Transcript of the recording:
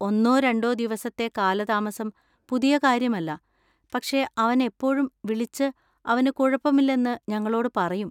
ഒന്നോ രണ്ടോ ദിവസത്തെ കാലതാമസം പുതിയ കാര്യമല്ല, പക്ഷേ അവൻ എപ്പോഴും വിളിച്ച് അവന് കുഴപ്പമില്ലെന്ന് ഞങ്ങളോട് പറയും.